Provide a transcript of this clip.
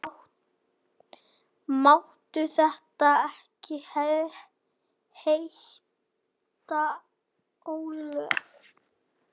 Máttu þetta ekki heita álög?